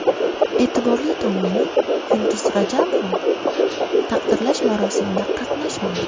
E’tiborli tomoni, Yulduz Rajabova taqdirlash marosimida qatnashmadi .